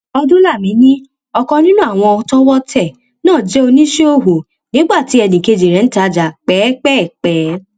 ọdúnlami ni ọkan nínú àwọn tọwọ tẹ náà jẹ oníṣẹọwọ nígbà tí ẹnìkejì rẹ ń tajà pẹẹpẹẹpẹ